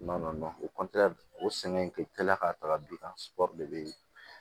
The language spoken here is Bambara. Ma o o sɛgɛn in tɛ la ka taga bi de bɛ